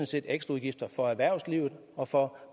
set ekstraudgifter for erhvervslivet og for